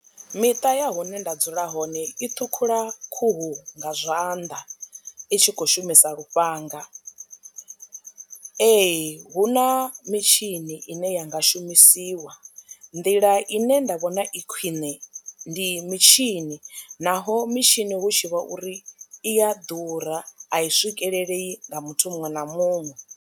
Miṱa ya hune nda dzula hone i ṱhukhula khuhu nga zwanḓa i tshi khou shumisa lufhanga . Ee, hu na mitshini ine ya nga shumisiwa nḓila ine nda vhona i khwine ndi mitshini naho mitshini hu tshi vha uri iya ḓura a i swikelelei nga muthu muṅwe na muṅwe.